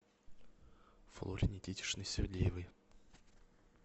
флоре никитичне сергеевой